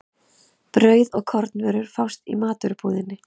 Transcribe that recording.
Brauð og kornvörur fást í matvörubúðinni.